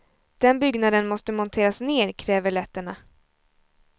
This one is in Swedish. Den byggnaden måste monteras ner, kräver letterna.